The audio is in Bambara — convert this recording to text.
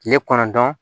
Tile kɔnɔntɔn